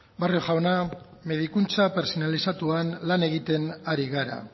barrio jauna medikuntza pertsonalizatuan lan egiten ari gara